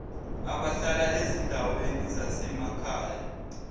abahlala ezindaweni zasemakhaya